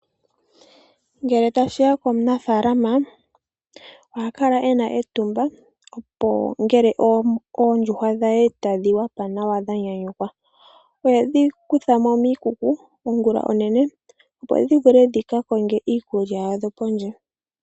Ngele tashi ya komunafaalama oha kala u uvite etumba ngele oondjuhwa dhe tadhi yanga nawa dha nyanyukwa. Ohedhi kutha mo miikuku ongula onene, opo dhi vule dhi ka konge iikulya yadho pondje.